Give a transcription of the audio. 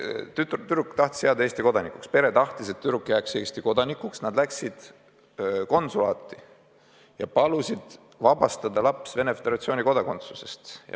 Tüdruk tahtis jääda Eesti kodanikuks, pere tahtis, et tüdruk jääks Eesti kodanikuks, nad läksid konsulaati ja palusid vabastada laps Venemaa Föderatsiooni kodakondsusest.